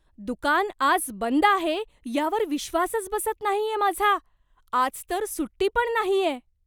दुकान आज बंद आहे यावर विश्वासच बसत नाहीये माझा! आज तर सुट्टी पण नाहीये.